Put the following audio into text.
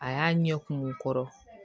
A y'a ɲɛ kum kɔrɔ